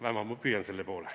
Vähemalt ma püüan selle poole.